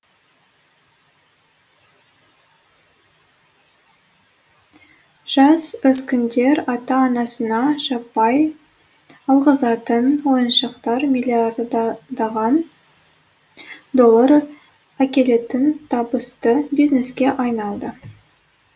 жасөскіндер ата анасына жаппай алғызатын ойыншықтар миллиардтаған доллар әкелетін табысты бизнеске айналды